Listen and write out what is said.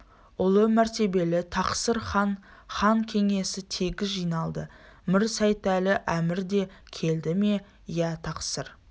ұлы мәртебелі тақсыр хан хан кеңесі тегіс жиналды мір сейтәлі әмір де келді ме иә тақсыр